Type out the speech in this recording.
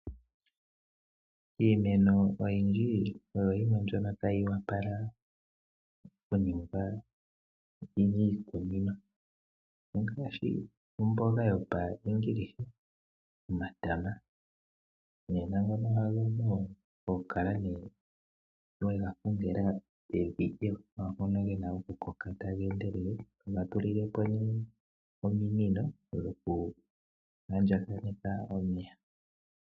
Iimeno oyindji oyo yimwe mbyono tayi wapala oku ningwa miikunino, ongaashi omboga yopa Engilisha, omatama nena ngono oga pumbwa oku kala nee we ga kongela evi ewanawa mono ge na oku koka ta geendelele toga tulile po nee ominino dhoku andjaganeka omeya.